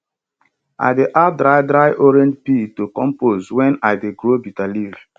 i dey add dry dry orange peel to compost when i dey grow bitter leaf